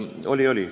Oli-oli nii.